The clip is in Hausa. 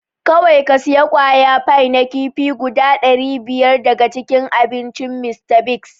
Kowai ka siya kwaya fai na kifi guda dari biyar daga gidan abincin Mr.Biggs.